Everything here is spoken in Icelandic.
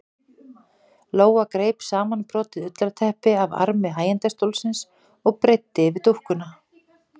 Lóa greip samanbrotið ullarteppi af armi hægindastólsins og breiddi yfir dúkkuna.